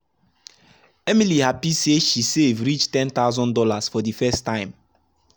emily happy say she save reach one thousand dollars0 for the first time.